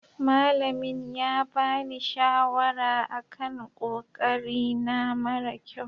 Malamin ya bani shawara a kan ƙoƙari na mara ƙyau.